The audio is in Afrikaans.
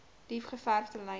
diep gekerfde lyne